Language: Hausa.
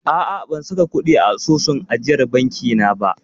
A'a, ban saka kuɗi a asusun ajiyar banki na ba.